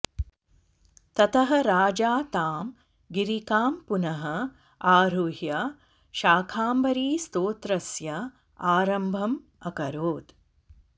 ततः राजा तां गिरिकां पुनः आरुह्य शाकम्भरीस्तोत्रस्य आरम्भम् अकरोत्